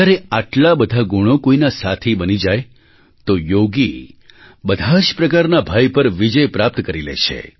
જ્યારે આટલા બધા ગુણો કોઈના સાથી બની જાય તો યોગી બધા જ પ્રકારના ભય પર વિજય પ્રાપ્ત કરી લે છે